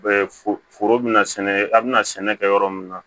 foro bɛna sɛnɛ a bɛna sɛnɛ kɛ yɔrɔ min na